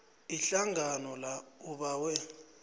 ihlangano la ubawe